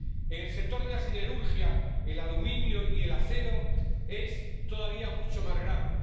En el sector de la siderurgia, el aluminio y el acero, es todavía mucho más grave.